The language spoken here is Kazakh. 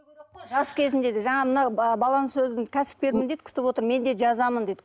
жас кезінде де жаңа мына баланың сөзі кәсіпкермін дейді күтіп отыр мен де жазамын дейді